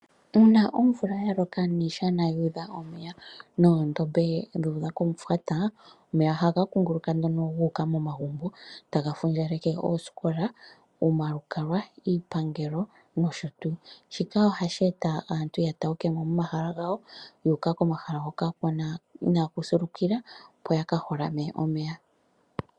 Una omvula ya loka niishana ya udha omeya, noondomba dha udha komufwata, omeya ohaga kunguluka nduno ga uka momagumbo taga fundjaleke oosikola, omalukalwa, iipangelo noshotu. Shika ohashi eta aantu ya taukemo momahala gawo, ya uka komahala hoka inaku sulukila opo ya ka holame omeya